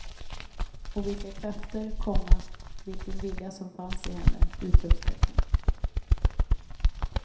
Och vilka krafter, komma vilken vilja som fanns i henne! utropstecken